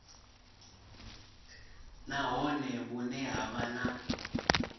nahone vhune ha vha na